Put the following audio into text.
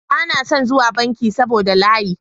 Bana son zuwa banki saboda layi.